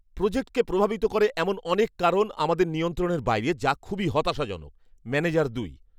প্রোজেক্টকে প্রভাবিত করে এমন অনেক কারণ আমাদের নিয়ন্ত্রণের বাইরে, যা খুবই হতাশাজনক। ম্যানেজার দুই